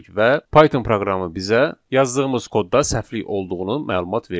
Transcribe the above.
və Python proqramı bizə yazdığımız kodda səhvlik olduğunu məlumat verdi.